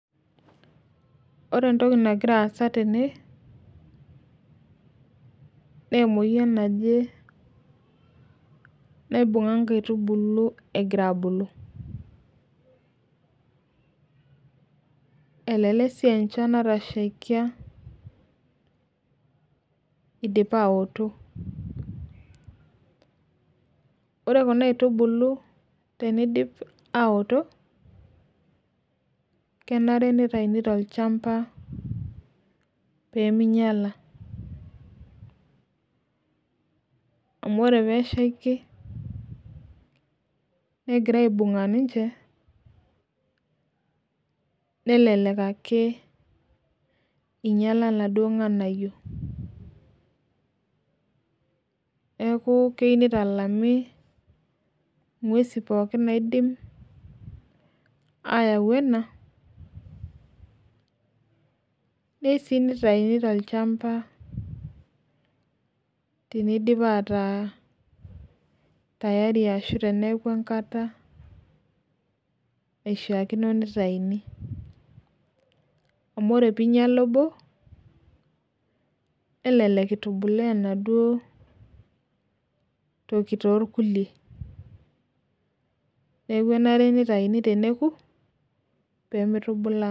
Ore entoki nagira aasa tene na emoyian naje naibunga nkaitubulu egira abulu elelek si aa enchan natashiakia egira abulu ore kuna aitubulu tenidip aoto kenare nitauni tolchamba peminyala amu ore peishaki negira aibunga ninche nelelek ake inyala laduo nganayio neaku keyieu nitalami ngwesi pooki ayau ena neyieu si nitauni tolchamba tinidip ataa tayari neaku enkata naishaakino nitauni amu ore pinyala obo nelelek torkulie neaku enare nitauni teneku pemitubulaa.